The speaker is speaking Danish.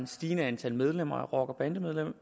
stigende antal medlemmer af rockerbanderne